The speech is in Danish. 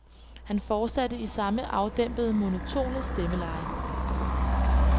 Han fortsatte i samme afdæmpede, monotone stemmeleje.